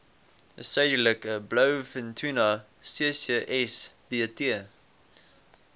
suidelike blouvintuna ccsbt